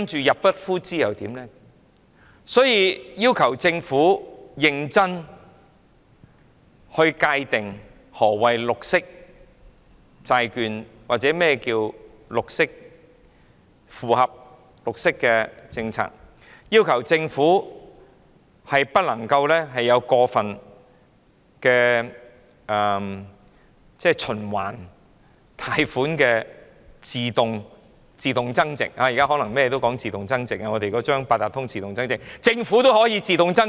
因此，我們要求政府認真界定何謂綠色債券或符合綠色政策，不能有過分循環貸款的自動增值——現在所有事情都講求自動增值，我們的八達通卡也可自動增值——連政府也可以自動增值。